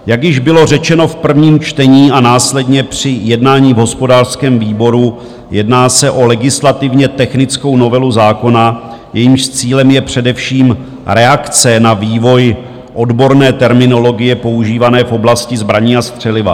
Jak již bylo řečeno v prvním čtení a následně při jednání v hospodářském výboru, jedná se o legislativně technickou novelu zákona, jejímž cílem je především reakce na vývoj odborné terminologie používané v oblasti zbraní a střeliva.